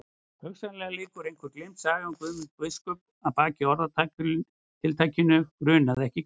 Hugsanlega liggur einhver gleymd saga um Guðmund biskup að baki orðatiltækinu grunaði ekki Gvend.